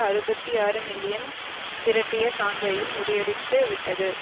அறுபத்தி ஆறு மில்லியன் திரட்டிய சான்றையும் முறியடித்து விட்டது